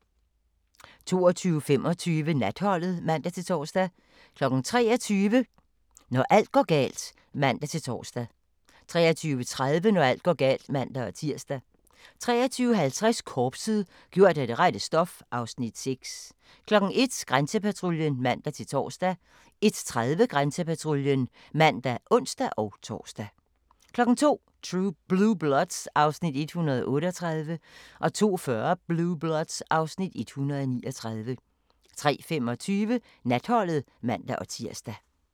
22:25: Natholdet (man-tor) 23:00: Når alt går galt (man-tor) 23:30: Når alt går galt (man-tir) 23:55: Korpset - gjort af det rette stof (Afs. 6) 01:00: Grænsepatruljen (man-tor) 01:30: Grænsepatruljen (man og ons-tor) 02:00: Blue Bloods (Afs. 138) 02:40: Blue Bloods (Afs. 139) 03:25: Natholdet (man-tir)